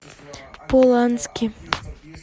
полански